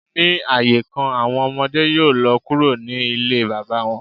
Ni aaye kan, awọn ọmọde yoo lọ kuro ni ile baba wọn.